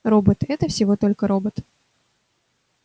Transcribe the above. робот это всего только робот